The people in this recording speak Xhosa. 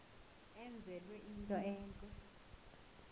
enzelwe into entle